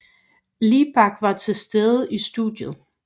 Libak var til stede i studiet